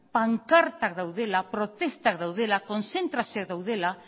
pankartak daudela protestak daudela kontzentrazioak daudela